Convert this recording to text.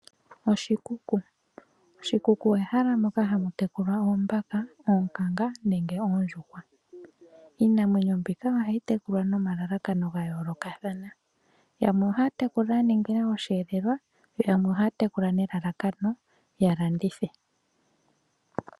Oshikuku ehala moka hamutekulwa oombaka, oonkanga nenge oondjuhwa. iinamwenyo mbika ohayi tekulwa nomalalakano gayoolokathana. yamwe Ohaya tekula ya ningila osheelelwa Yamwe Ohaya tekula nelalakano yalandithe